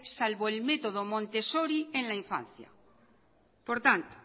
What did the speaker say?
salvo el método montessori en la infancia por tanto